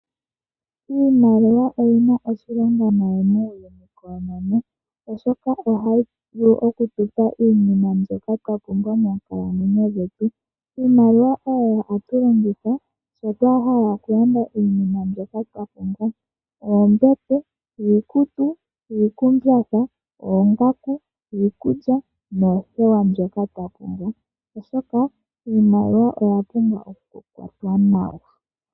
Iimaliwa oyi na oshilonga oshinene, oshoka ohayi vulu oku tu pa iinima mbyoka twa pumbwa moonkalamwenyo dhetu. Iimaliwa oyo hatu longitha ngele twa hala okulanda iinima mbyoka twa pumbwa ngaashi iikutu, oombete, iikumbatha, oongaku, iikulya noothewa ndhoka twa pumbwa, onkene iimaliwa oya pumbwa okukwatwa nawa.